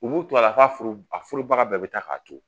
nunnu kila t'a furu a furubaga bɛɛ be taa k'a to